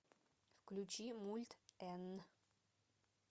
включи мульт энн